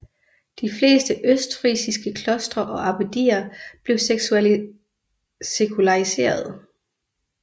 De fleste østfrisiske klostre og abbedier blev sekulariserede